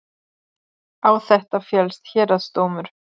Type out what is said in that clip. Á þetta féllst héraðsdómur